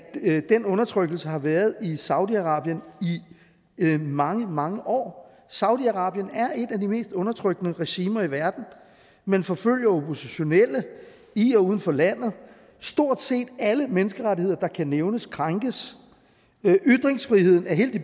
den undertrykkelse har været i saudi arabien i mange mange år saudi arabien er et af de mest undertrykkende regimer i verden man forfølger oppositionelle i og uden for landet stort set alle menneskerettigheder der kan nævnes krænkes og ytringsfriheden er helt i